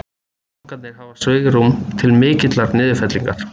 Bankarnir hafi svigrúm til mikillar niðurfellingar